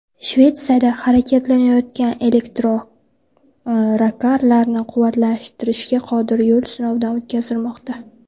Shvetsiyada harakatlanayotgan elektrokarlarni quvvatlantirishga qodir yo‘l sinovdan o‘tkazilmoqda.